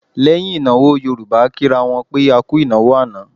Lẹ́yìn ìnáwó Yorùbá a kì ra wọn pé A kú ìnáwó àná.